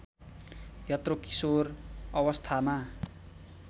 यत्रो किशोर अवस्थामा